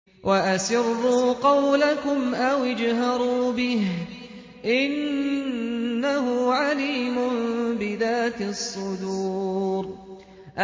وَأَسِرُّوا قَوْلَكُمْ أَوِ اجْهَرُوا بِهِ ۖ إِنَّهُ عَلِيمٌ بِذَاتِ الصُّدُورِ